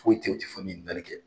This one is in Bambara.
Foyi tɛ ten u tɛ fɔɛn min ɲikalikɛ.